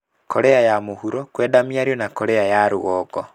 Korea ya mũhuro kwenda mĩario na Korea ya rũgongo.